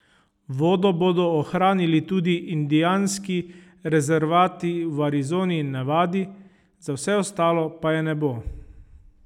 Vodo bodo ohranili tudi indijanski rezervati v Arizoni in Nevadi, za vse ostale pa je ne bo.